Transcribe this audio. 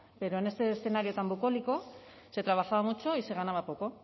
pero en este escenario tan bucólico se trabajaba mucho y se ganaba poco